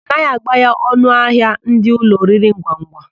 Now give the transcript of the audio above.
A naghị agbaya ọnụahịa ndị ụlọ oriringwangwa.